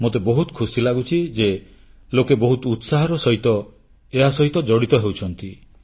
ମୋତେ ବହୁତ ଖୁସି ଲାଗୁଛି ଯେ ଲୋକେ ବହୁତ ଉତ୍ସାହର ସହିତ ଏହା ସହିତ ଜଡ଼ିତ ହେଉଛନ୍ତି